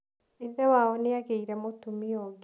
Ithe wao nĩ agĩire mũtumia ũngĩ.